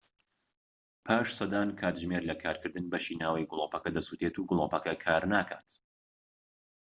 پاش سەدان کاتژمێر لە کارکردن بەشی ناوەوەی گلۆپەکە دەسوتێت و گلۆپەکە کارناکات